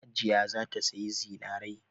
Hajiya za ta sayi zinarai.